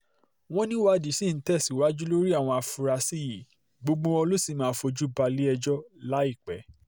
wọ́n níwádìí ṣì ń tẹ̀síwájú lórí àwọn afurasí yìí gbogbo wọn ló sì máa fojú balẹ̀-ẹjọ́ láìpẹ́